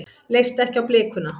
Leist ekki á blikuna.